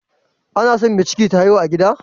Anason me ciki take haihuwa a gida